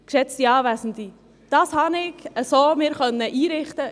Geschätzte Anwesende, ich konnte mir dies so einrichten.